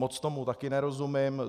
Moc tomu také nerozumím.